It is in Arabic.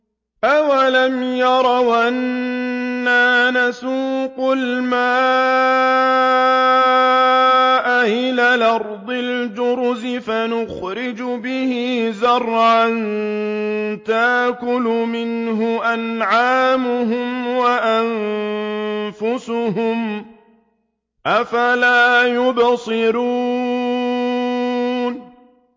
أَوَلَمْ يَرَوْا أَنَّا نَسُوقُ الْمَاءَ إِلَى الْأَرْضِ الْجُرُزِ فَنُخْرِجُ بِهِ زَرْعًا تَأْكُلُ مِنْهُ أَنْعَامُهُمْ وَأَنفُسُهُمْ ۖ أَفَلَا يُبْصِرُونَ